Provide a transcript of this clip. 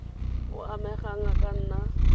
o amegang a ka nna